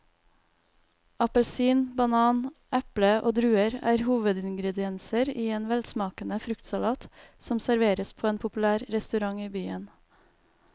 Appelsin, banan, eple og druer er hovedingredienser i en velsmakende fruktsalat som serveres på en populær restaurant i byen.